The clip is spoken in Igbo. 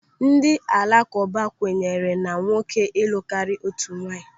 Ndị alakụba kwenyere na nwoke ịlụ karịa otu nwaanyị.